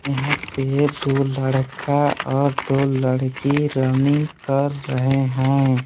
यहां पे दो लड़का और दो लड़की रनिंग कर रहे हैं।